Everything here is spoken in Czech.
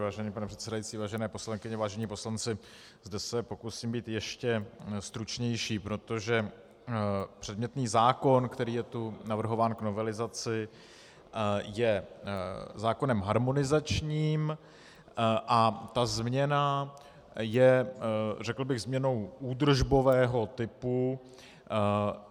Vážený pane předsedající, vážené poslankyně, vážení poslanci, zde se pokusím být ještě stručnější, protože předmětný zákon, který je tu navrhován k novelizaci, je zákonem harmonizačním a ta změna je řekl bych změnou údržbového typu.